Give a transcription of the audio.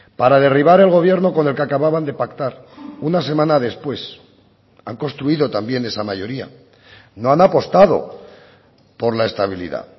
para derribar el gobierno con el que acababan de pactar una semana después han construido también esa mayoría no han apostado por la estabilidad